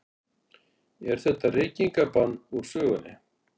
Er þetta reykingabann úr sögunni?